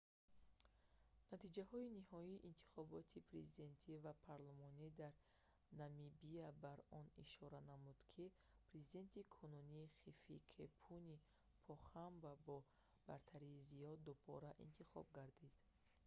натиҷаҳои ниҳоии интихоботи президентӣ ва парлумонӣ дар намибия бар он ишора намуданд ки президенти кунунӣ хификепунье похамба бо бартарии зиёд дубора интихоб гардид